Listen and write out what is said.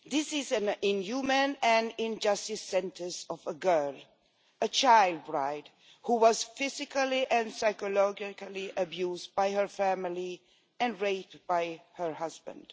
This is an inhuman and unjust sentencing of a girl, a child bride who was physically and psychologically abused by her family and raped by her husband.